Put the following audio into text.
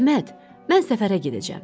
Əhməd, mən səfərə gedəcəm.